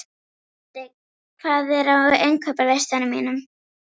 Eddi, hvað er á innkaupalistanum mínum?